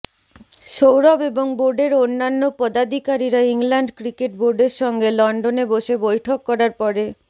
সৌরভ এবং বোর্ডের অন্যান্য পদাদিকারীরা ইংল্যান্ড ক্রিকেট বোর্ডের সঙ্গে লন্ডনে বসে বৈঠক করার পরে